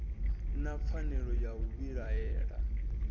na pfanelo ya u vhilaela